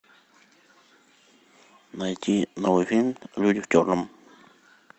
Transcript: найти новый фильм люди в черном